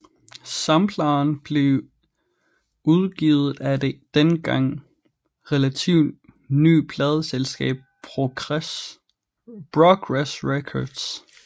Sampleren blev udgivet af det dengang relativt nye pladeselskab Progress Records